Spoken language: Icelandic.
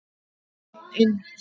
Einn inn.